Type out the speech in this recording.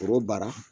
Foro baara